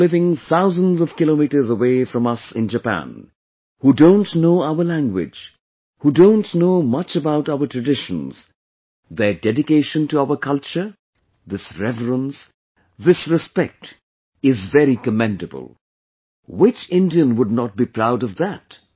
People living thousands of kilometers away from us in Japan, who don't know our language, who don't know much about our traditions, their dedication to our culture, this reverence, this respect, is very commendable which Indian would not be proud of that